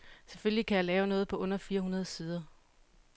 Selvfølgelig kan jeg lave noget på under fire hundrede sider.